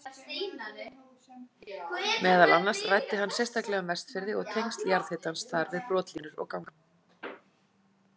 Meðal annars ræddi hann sérstaklega um Vestfirði og tengsl jarðhitans þar við brotlínur og ganga.